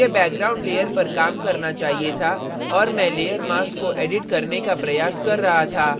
मुझे background layer पर काम करना चाहिए था और मैं layer mask को edit करने का प्रयास कर रहा था